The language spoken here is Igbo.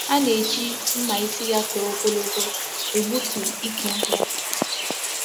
A na-eji mma isi ya toro ogologo egbutu Ike nkwu.